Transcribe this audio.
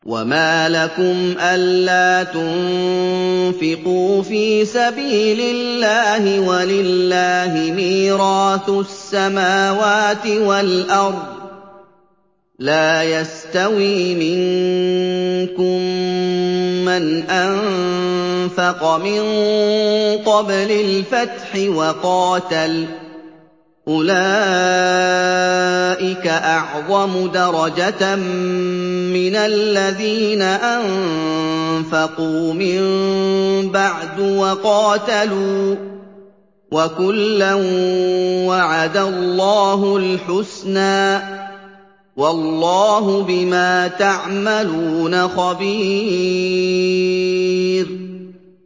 وَمَا لَكُمْ أَلَّا تُنفِقُوا فِي سَبِيلِ اللَّهِ وَلِلَّهِ مِيرَاثُ السَّمَاوَاتِ وَالْأَرْضِ ۚ لَا يَسْتَوِي مِنكُم مَّنْ أَنفَقَ مِن قَبْلِ الْفَتْحِ وَقَاتَلَ ۚ أُولَٰئِكَ أَعْظَمُ دَرَجَةً مِّنَ الَّذِينَ أَنفَقُوا مِن بَعْدُ وَقَاتَلُوا ۚ وَكُلًّا وَعَدَ اللَّهُ الْحُسْنَىٰ ۚ وَاللَّهُ بِمَا تَعْمَلُونَ خَبِيرٌ